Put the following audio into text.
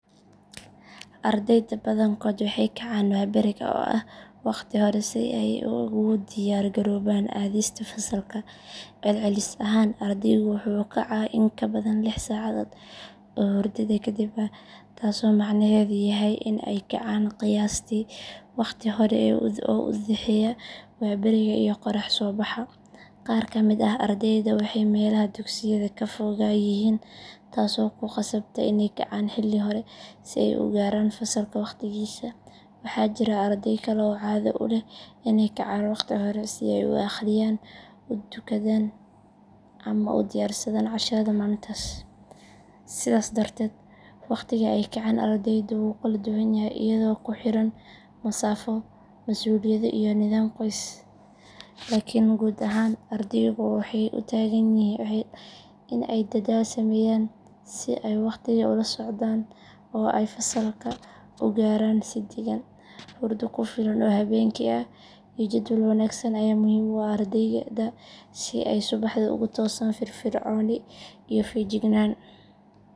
Ardeyda badankooda waxay kacaan waaberiga oo ah waqti hore si ay ugu diyaar garoobaan aaddista fasalka. Celcelis ahaan ardaygu wuxuu kacaa in ka badan lix saacadood oo hurdada kadib ah, taasoo macnaheedu yahay in ay kacaan qiyaastii waqti hore oo u dhaxeeya waaberiga iyo qorrax soo baxa. Qaar ka mid ah ardeyda waxay meelaha dugsiyada ka foga yihiin taasoo ku khasabta inay kacaan xilli hore si ay u gaaraan fasalka waqtigiisa. Waxaa jira arday kale oo caado u leh inay kacaan waqti hore si ay u akhriyaan, u dukadaan ama u diyaarsadaan casharada maalintaas. Sidaas darteed, waqtiga ay kacaan ardeydu wuu kala duwan yahay iyadoo ku xiran masaafo, masuuliyado iyo nidaam qoys. Laakiin guud ahaan ardeydu waxay u taagan yihiin in ay dadaal sameeyaan si ay waqtiga ula socdaan oo ay fasalka u gaaraan si degan. Hurdo ku filan oo habeenkii ah iyo jadwal wanaagsan ayaa muhiim u ah ardayda si ay subaxii ugu toosaan firfircooni iyo feejignaan.